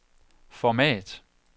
format